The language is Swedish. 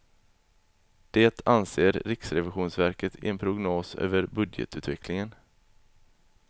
Det anser riksrevisionsverket i en prognos över budgetutvecklingen.